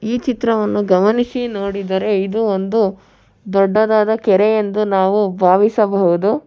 ಈ ಚಿತ್ರವನ್ನು ಗಮನಿಸಿ ನೋಡಿದರೆ ಇದು ಒಂದು ದೊಡ್ಡದಾದ ಕೆರೆ ಎಂದು ನಾವು ಭಾವಿಸಬಹುದು.